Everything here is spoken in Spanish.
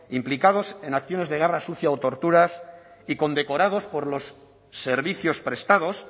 implicados en acciones de guerra sucia o torturas y condecorados por los servicios prestados